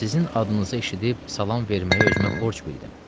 Sizin adınızı eşidib salam verməyə özümü borc bildim.